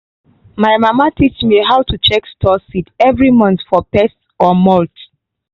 my mama teach me how to check store seed every month for pest or mould.